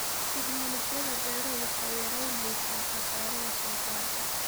Tignoolajiyada beeruhu waxay yaraynaysaa khasaaraha soosaarka.